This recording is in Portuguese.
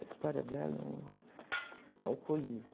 A história dela é um... Alcoolismo.